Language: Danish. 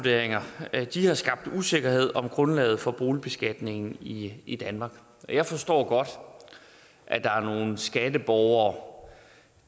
de nuværende ejendomsvurderinger har skabt usikkerhed om grundlaget for boligbeskatningen i i danmark og jeg forstår godt at der er nogle skatteborgere